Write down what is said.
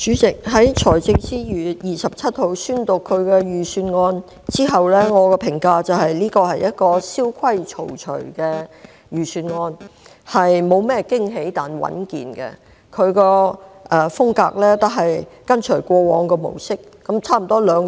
主席，財政司司長於2月27日宣讀財政預算案後，我的評價是，這份預算案蕭規曹隨，沒有甚麼驚喜，但屬穩健，他的風格是跟隨過往的模式。